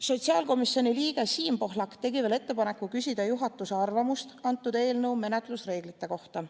Sotsiaalkomisjoni liige Siim Pohlak tegi veel ettepaneku küsida juhatuse arvamust antud eelnõu menetluse reeglite kohta.